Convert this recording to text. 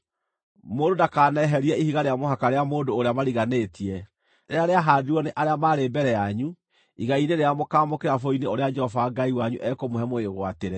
Mũndũ ndakaneherie ihiga rĩa mũhaka rĩa mũndũ ũrĩa mariganĩtie, rĩrĩa rĩahaandirwo nĩ arĩa maarĩ mbere yanyu igai-inĩ rĩrĩa mũkaamũkĩra bũrũri-inĩ ũrĩa Jehova Ngai wanyu ekũmũhe mũwĩgwatĩre.